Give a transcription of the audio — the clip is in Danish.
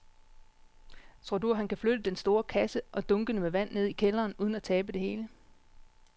Tror du, at han kan flytte den store kasse og dunkene med vand ned i kælderen uden at tabe det hele?